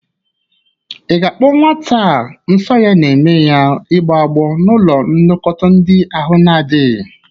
Ị ga-akpọje nwata a nsọ ya na-eme ya igbọ agbụ n'ụlọ nlekọta ndị ahụ na-adịghị?